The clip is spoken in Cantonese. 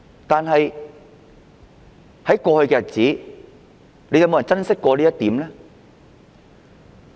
但是，在過去的日子，有沒有人珍惜這一點呢？